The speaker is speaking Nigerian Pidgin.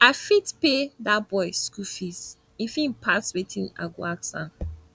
i fit pay dat boy school fees if im pass wetin i go ask am